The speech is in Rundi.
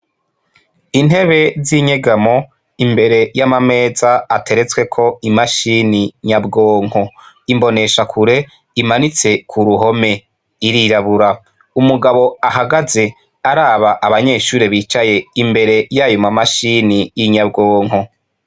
Intebe z'inyegamo imbere y'amameza ateretsweko imashini nyabwonko. Imboneshakure imanitse ku ruhome, irirabura. Umugabo ahagaze araba abanyeshure bicaye imbere y'ayo ma mashini y'inyabwonko.